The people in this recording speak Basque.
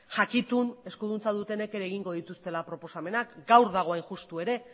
jakitun eskuduntza dutenek ere egingo dituztela proposamenak gaur dago hain justu ere